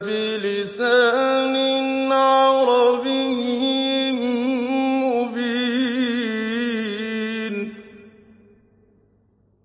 بِلِسَانٍ عَرَبِيٍّ مُّبِينٍ